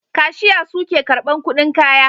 Kashiya suke karban kudin kaya